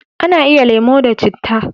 A na iya yin lemo da citta